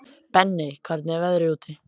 Benney, hvernig er veðrið úti?